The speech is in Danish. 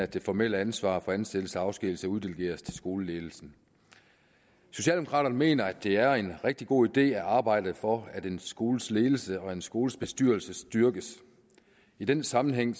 det formelle ansvar for ansættelse og afskedigelse uddelegeres til skoleledelsen socialdemokraterne mener at det er en rigtig god idé at arbejde for at en skoles ledelse og en skoles bestyrelse styrkes i den sammenhæng